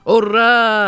Urra!